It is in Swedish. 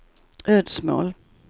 Ödsmål